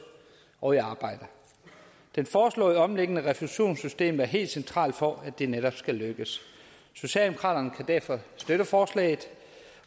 og i arbejde den foreslåede omlægning af refusionssystemet er helt central for at det netop skal lykkes socialdemokraterne kan derfor støtte forslaget